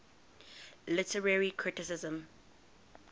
literary criticism